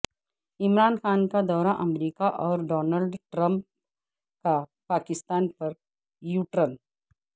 عمران خان کا دورہ امریکہ اور ڈونلڈ ٹرمپ کا پاکستان پر یوٹرن